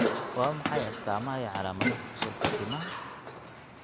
Waa maxay astamaha iyo calaamadaha xusulka timaha?